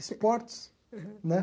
Esportes. Aham. Né?